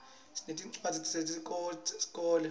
sinetincwadzi tesikolo